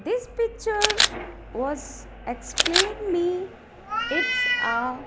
this picture was explain me its a.